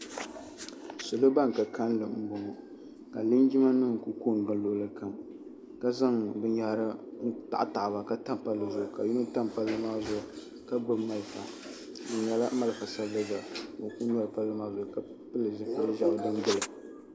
Salo ban ka kalli m boŋɔ ka linjima nima kuli kongili luɣuli kam ka zaŋ binyahiri n taɣa taɣa ba ka tam palli zuɣu ka yino tam palli maa zuŋu ka gbibi malifa di nyɛla malifa sabliga n kuli nyaɣi palli maa zuɣu ka pili zipil'ʒehi.